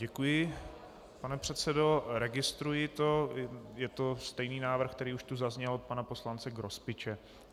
Děkuji, pane předsedo, registruji to, je to stejný návrh, který už tu zazněl od pana poslance Grospiče.